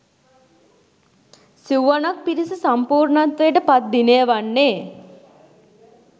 සිව්වනක් පිරිස සම්පූර්ණත්වයට පත් දිනය වන්නේ